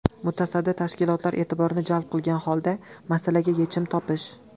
Mutasaddi tashkilotlar e’tiborini jalb qilgan holda, masalaga yechim topish.